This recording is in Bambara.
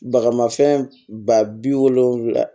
Bagamafɛn ba bi wolonvila